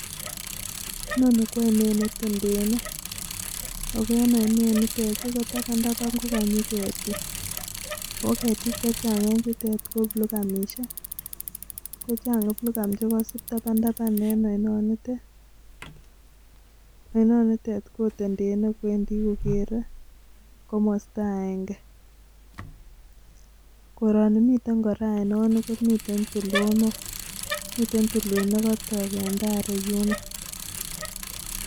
Yanitet kotapapan Tapan KO kanyiii ketiik aino nite KO miteii tulwet nekatoi Eng taii yuunyoneeet